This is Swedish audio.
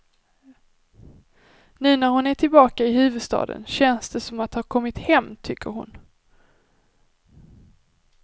Nu när hon är tillbaka i huvudstaden känns det som att ha kommit hem, tycker hon.